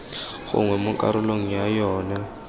gongwe mo karolong ya yona